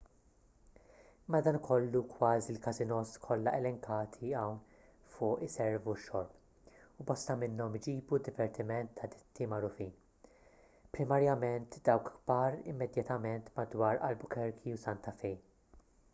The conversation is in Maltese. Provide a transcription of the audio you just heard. madankollu kważi l-każinòs kollha elenkati hawn fuq iservu x-xorb u bosta minnhom iġibu divertiment ta’ ditti magħrufin primarjament dawk kbar immedjatament madwar albuquerque u santa fe